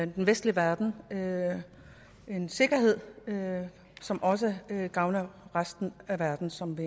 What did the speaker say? den vestlige verden en sikkerhed som også gavner resten af verden som vi